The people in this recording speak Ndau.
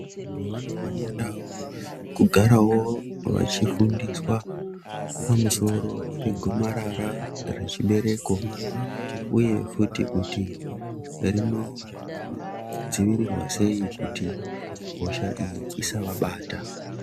Vantu vanofanira kugara wo vachifundiswa pamusoro pegomarara rechibereko uye futi kuti rinodzivirirwa sei kuti hosha iyi isa vabata.